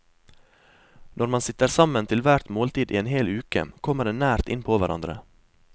Når man sitter sammen til hvert måltid i en hel uke, kommer en nært innpå hverandre.